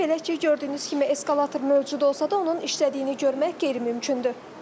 Belə ki, gördüyünüz kimi eskalator mövcud olsa da onun işlədiyini görmək qeyri-mümkündür.